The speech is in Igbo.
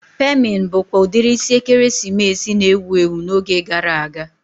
Pemin bụkwa udiri isi ekeresimesi na-ewu ewu n'oge gara aga